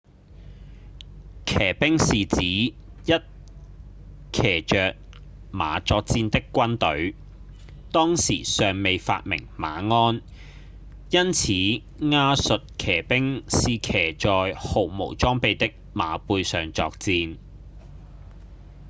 騎兵是指一騎著馬作戰的軍隊當時尚未發明馬鞍因此亞述騎兵是騎在毫無裝備的馬背上作戰